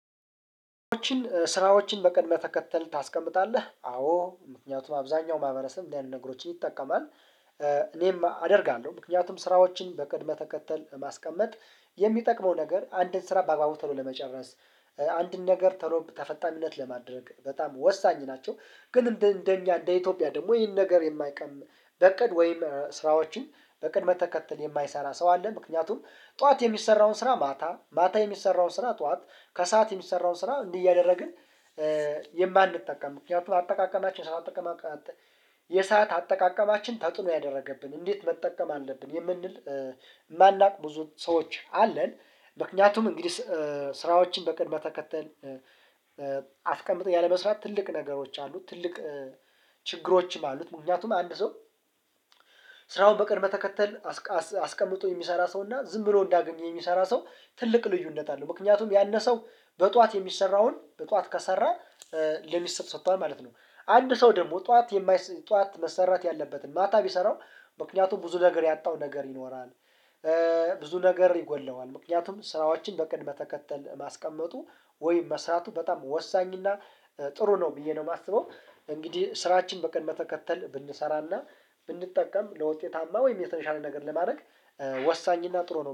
ስራዎችን በቅድመ ተከተል ታስቀምጣለህ አዎ ምክንያቱም አብዛኛው ማህበረሰብ እንደዚህ አይነት ነገሮችን ይጠቀማል። እኔም አደርጋለሁ ምክንያቱም ስራዎችን በቅድመ ተከተል ማስቀመጥ የሚጠቅመው ነገር አንድን ስራ በአግባቡ ተሎ ለመጨረስ አንድን ነገር ተሎ ተፈጣሚነት ለማድረግ በጣም ወሳኝ ናቸው። ግን እንደ እንደኛ እንደ ኢትዮጵያ ደግሞ ይህን ነገር የማይቀም በእቅድ ወይም ስራዎችን በእቅድ መከተል የማይሰራ ሰው አለ። ምክንያቱም ጠዋት የሚሰራውን ስራ ማታ ማታ የሚሰራውን ስራ ጠዋት ከሰአት የሚሰራውን ስራ እንዲህ እያደረግን። የማንጠቀም ምክንያቱም አጠቃቀማችን ስራ አጠቃቀማችን የሰዓት አጠቃቀማችን ተጥኖ ያደረገብን እንዴት መጠቀም አለብን? የምንል የማናውቅ ብዙ ሰዎች አለን። ምክንያቱም እንግዲህ ስራዎችን በቅድመ ተከተል አስቀምጠው ያለመስራት ትልቅ ነገሮች አሉ። ትልቅ ችግሮችም አሉት። ምክንያቱም አንድ ሰው ስራውን በቅድመ ተከተል አስቀምጦ የሚሰራ ሰውና ዝም ብሎ እንዳገኘ የሚሰራ ሰው ትልቅ ልዩነት አለው። ምክንያቱም ያነ ሰው በጧት የሚሰራውን በጠዋት ከሰራ ለሚስቱ ሰጥቷል ማለት ነው። አንድ ሰው ደግሞ ጠዋት የማይ ጠዋት መሰራት ያለበትን ማታ ቢሰራው ምክንያቱም ብዙ ነገር ያጣው ነገር ይኖራል። ብዙ ነገር ይጎድለዋል። ምክንያቱም ስራዎችን በቅድመ ተከተል ማስቀመጡ ወይም መስራቱ በጣም ወሳኝ እና ጥሩ ነው ብዬ ነው የማስበው። እንግዲህ ስራችን በቀን መከተል ብንሰራና ብንጠቀም ለውጤታማ ወይም የተነሻለ ነገር ለማድረግ ወሳኝና ጥሩ ነው